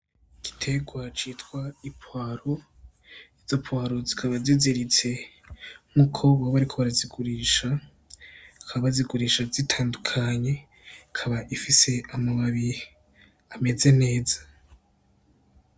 Igiterwa citwa ipwaro ,izo pwaro zikaba ziziritse nkuko boba bariko barazigurisha bakaba bazigurisha zitandukanye, ikaba ifise amababi ameze neza